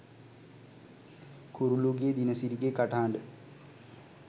කුරුලුගේ දිනසිරිගේ කටහඬ